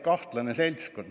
Kahtlane seltskond!